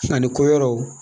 Ani ko yɔrɔw